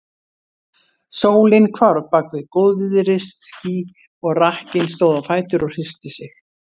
Sólin hvarf bak við góðviðrisský, og rakkinn stóð á fætur og hristi sig.